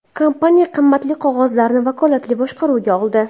Kompaniya qimmatli qog‘ozlarni vakolatli boshqaruvga oldi.